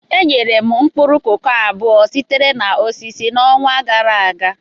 Enyere m mkpụrụ koko abụọ sitere na osisi n'ọnwa gara aga.